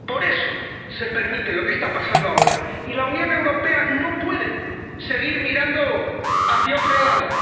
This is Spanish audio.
Por eso se permite lo que está pasando ahora. Y la Unión Europea no puede seguir mirando hacia otro lado.